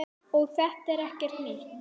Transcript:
Og þetta er ekkert nýtt.